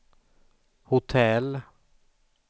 hotell